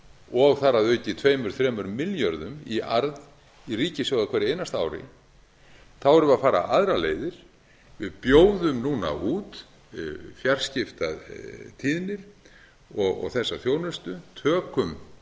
og þar að auki tveimur þremur milljörðum í arð á hverju einasta ári erum við að ara aðrar leiðir við bjóðum núna út fjarskiptatíðnir og þessar þjónusuturtökum